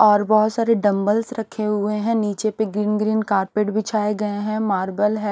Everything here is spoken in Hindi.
और बहोत सारे डंबल रखे हुए हैं। नीचे पे ग्रीन ग्रीन कारपेट बिछाए गए हैं। मार्बल है।